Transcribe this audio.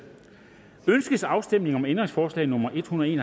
ønskes afstemning om ændringsforslag nummer en hundrede